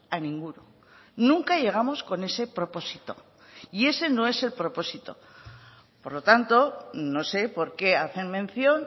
a ninguno nunca llegamos con ese propósito y ese no es el propósito por lo tanto no sé por qué hacen mención